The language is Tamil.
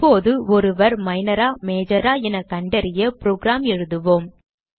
இப்போது ஒருவர் Minor ஆ Major ஆ என கண்டறிய புரோகிராம் எழுதுவோம்